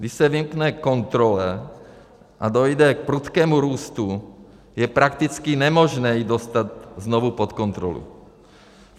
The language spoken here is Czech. Když se vymkne kontrole a dojde k prudkému růstu, je prakticky nemožné ji dostat znovu pod kontrolu.